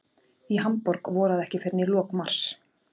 Í Hamborg voraði ekki fyrr en í lok mars.